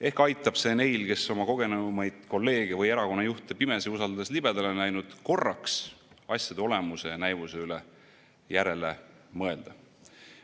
Ehk aitab see neil, kes oma kogenumaid kolleege või erakonna juhte pimesi usaldades libedale on läinud, korraks asjade olemuse ja näivuse üle järele mõelda.